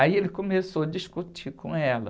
Aí ele começou a discutir com ela.